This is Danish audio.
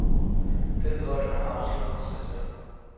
Den løgn har afsløret sig selv.